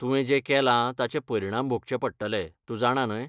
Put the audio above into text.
तुवें जें केलां ताचे परिणाम भोगचे पडटले , तूं जाणा न्हय?